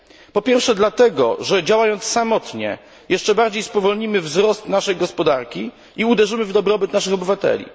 Po pierwsze dlatego, że działając samotnie jeszcze bardziej spowolnimy wzrost naszej gospodarki i uderzymy w dobrobyt naszych obywateli.